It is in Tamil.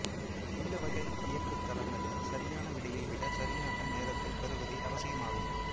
இந்த வகை இயக்கு தளங்களில் சரியான விடையை விட சரியான நேரத்தில் பெறுவதே அவசியமாகும்